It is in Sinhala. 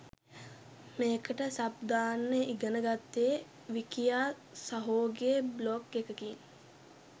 මේකට සබ් දාන්න ඉගන ගත්තේ විකියා සහෝගේ බ්ලොග් එකකින්.